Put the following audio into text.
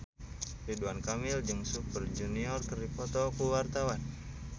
Ridwan Kamil jeung Super Junior keur dipoto ku wartawan